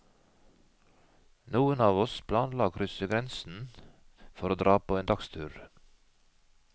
Noen av oss planla og krysse grensen for å dra på en dagstur.